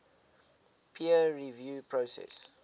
peer review process